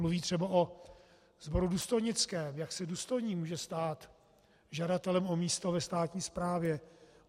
Mluví třeba o sboru důstojnickém, jak se důstojník může stát žadatelem o místo ve státní správě.